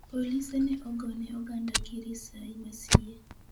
Polise ne ogone oganda gi risai masie.